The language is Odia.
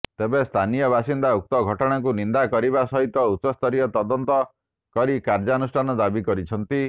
ତେବେ ସ୍ଥାନୀୟ ବାସିନ୍ଦା ଉକ୍ତ ଘଟଣାକୁ ନିନ୍ଦା କରିବା ସହିତ ଉଚ୍ଚସ୍ତରୀୟ ତଦନ୍ତ କରି କାର୍ୟ୍ୟାନୁଷ୍ଠାନ ଦାବି କରିଛନ୍ତି